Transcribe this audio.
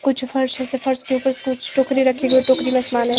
कुछ फर्श जैसा फर्श के ऊपर कुछ टोकरी रखी हुई हैं टोकरी में समान है।